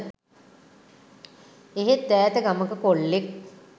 එහෙත් ඈත ගමක කොල්ලෙක්